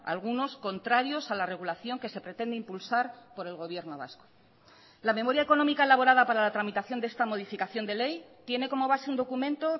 algunos contrarios a la regulación que se pretende impulsar por el gobierno vasco la memoria económica elaborada para la tramitación de esta modificación de ley tiene como base un documento